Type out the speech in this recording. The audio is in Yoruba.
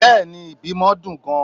Beeni l, ibimo dun gan